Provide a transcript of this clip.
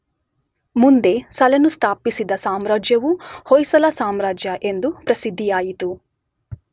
ಮುಂದೆ ಸಳನು ಸ್ಥಾಪಿಸಿದ ಸಾಮ್ರಾಜ್ಯವು ಹೊಯ್ಸಳ ಸಾಮ್ರಾಜ್ಯ ಎಂದು ಪ್ರಸಿದ್ದಿಯಾಯಿತು.